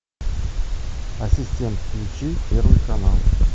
ассистент включи первый канал